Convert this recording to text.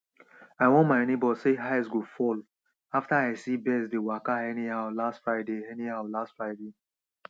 i warn my neighbour sey ice go fall after i see birds dey waka anyhow last friday anyhow last friday